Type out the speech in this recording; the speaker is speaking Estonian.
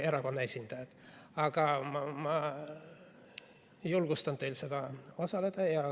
Nii et ma julgustan teid seal osalema.